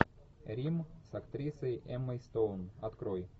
рим с актрисой эммой стоун открой